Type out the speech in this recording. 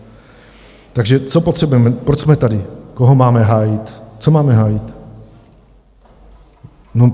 Takže co potřebujeme, proč jsme tady, koho máme hájit, co máme hájit?